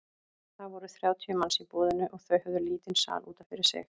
Það voru þrjátíu manns í boðinu og þau höfðu lítinn sal út af fyrir sig.